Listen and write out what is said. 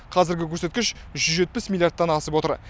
қазіргі көрсеткіш жүз жетпіс миллиардтан асып отыр